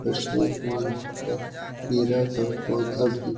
बरसात में पर केरा का पौधा भी --